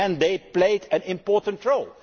In the end, they played an important role.